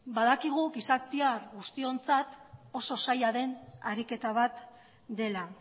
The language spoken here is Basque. badakigu gizatiar guztiontzat oso zaila den ariketa bat dela